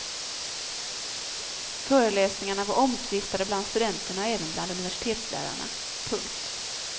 Föreläsningarna var omtvistade bland studenterna och även bland universitetslärarna. punkt